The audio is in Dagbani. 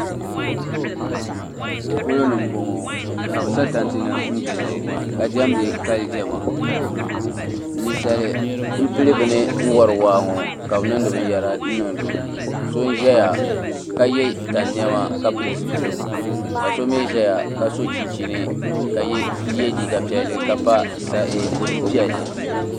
polo ni m-bɔŋɔ ka bɛ sa tanti nima n-gili ka diɛmdi kali diɛma ninsali m-pili bini n-wari waa ŋɔ ka bɛ niŋdi binyɛra n-niŋdi o so n-zaya ka ye tani nɛma ka pili zupiligu ka so mi ʒeya ka sɔ chinchini ka ye liiga piɛlli ka pa bɔdu' piɛlli.